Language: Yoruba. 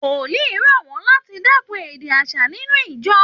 Wòlìí rọ̀ wọ́n láti dẹ́kun èdè aṣa ninú ìjọ